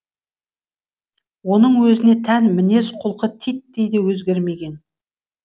оның өзіне тән мінез құлқы титтей де өзгермеген